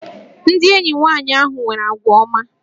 Ndị enyi nwanyị ahụ nwere àgwà ọma